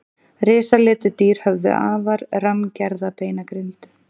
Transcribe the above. Risaletidýr höfðu afar rammgerða beinagrind.